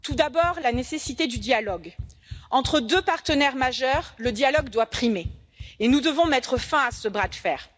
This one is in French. Tout d'abord, la nécessité du dialogue entre deux partenaires d'importance majeure, le dialogue doit primer et nous devons mettre fin à ce bras de fer.